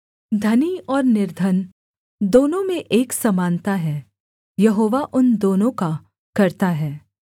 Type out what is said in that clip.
धनी और निर्धन दोनों में एक समानता है यहोवा उन दोनों का कर्त्ता है